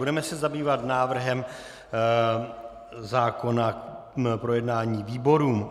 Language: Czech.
Budeme se zabývat návrhem zákona k projednání výborům.